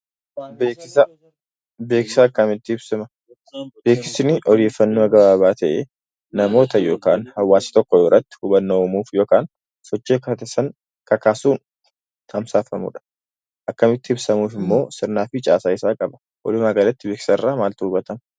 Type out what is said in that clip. Beeksisni odeeffannoo gabaabaa ta'e namoota yookiin hawwaasa tokko biratti hubannaa uumuuf yookiin sochii akka godhataniif kakaasuun tamsaafamudha. Akkaataan ittiin ibsamu immoo caasaa mataa isaa ni qaba.